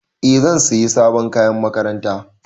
Eh zan siya sabon kayan makaranta.